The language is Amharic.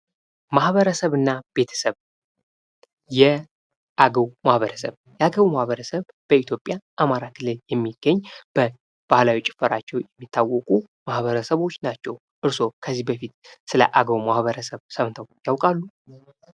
ማህበረሰብ እና ቤተሰብ የአገው ማህበረሰብ፡ የአገው ማህበረሰብ በኢትዮጵያ አማራ ክልል የሚገኝ በባህላዊ ጭፈራቸው የሚታወቁ ማህበረሰቦች ናቸው። እርሶ ከዚህ በፊት ስለ አገው ማህበረሰብ ሰምተው ያውቃሉ?